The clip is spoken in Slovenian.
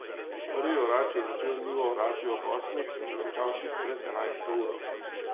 Prvi orač je začel njivo orati ob osmih in končal tik pred enajsto uro.